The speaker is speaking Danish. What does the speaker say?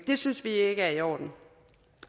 det synes vi ikke er i orden